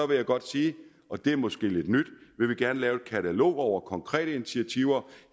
vil jeg godt sige og det er måske lidt nyt at lave et katalog over konkrete initiativer